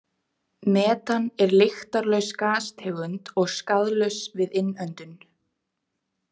Metan er lyktarlaus gastegund og skaðlaust við innöndun.